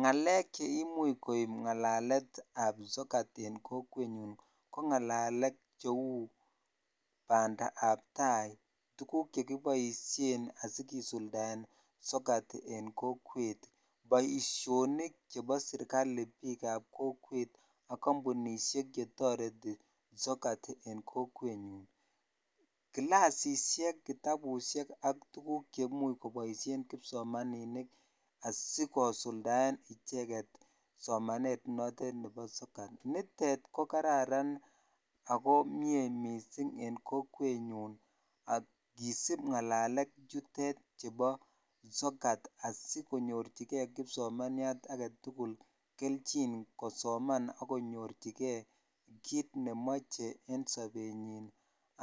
Ng'alek cheimuch koib ng'alaletab sokat en kokwenyun ko ng'alalet cheu bandab taai, tukuk chekiboishen asikisuldaen sokat en kokwet, boishonik chebo serikali biikab kokwet ak kombunishek chetoreti sokat en kokwenyu, kilasishek, kitabushek ak tukuk cheimuch koboishen kipsomaninik asikosuldaen icheket somanet netot nebo sokat, nitet ko kararan ak ko miee mising en kokwenyun kisib ng'alalet chutet chubo sokat asikonyorchike kipsomaniat aketukul kelchin kosoman ak konyorchike kiit nemoche en sobenyin